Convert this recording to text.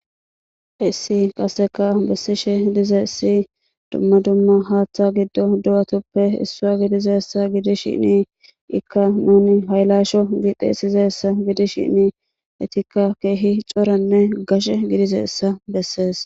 Hissi qasseka bessishe dize essi dumma dumma haaththa giddo du7atuppe issua gidizessa gidishinnii ikka nuni haylasho gixeesizeessa gidishinnii etikka keehi coranne gashe gidize essa bessees